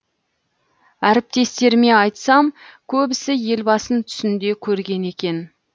әріптестеріме айтсам көбісі елбасын түсінде көрген екен